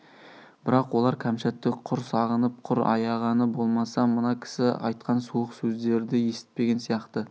бірақ олар кәмшатты құр сағынып құр аяғаны болмаса мына кісі айтқан суық сөздерді есітпеген сияқты